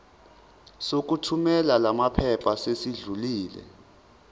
sokuthumela lamaphepha sesidlulile